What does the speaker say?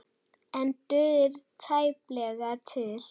En dugir tæplega til.